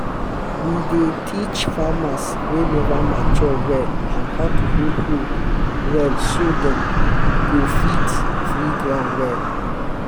we dey teach farmers wey never mature well on how to hold hoe well so dat dem go fit free ground well